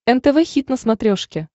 нтв хит на смотрешке